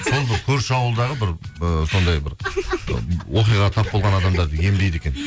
сол бір көрші ауылдағы бір ыыы сондай бір оқиғаға тап болған адамдарды емдейді екен